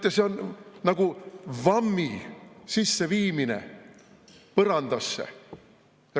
Teate, see on nagu vammi sisseviimine põrandasse.